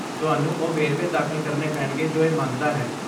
ਤੁਹਾਨੂੰ ਉਹ ਵੇਰਵੇ ਦਾਖਲ ਕਰਨੇ ਪੈਣਗੇ ਜੋ ਇਹ ਮੰਗਦਾ ਹੈ।